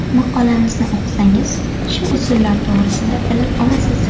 Maqolamizni o‘qisangiz, shu usullar to‘g‘risida bilib olasiz.